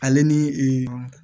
Ale ni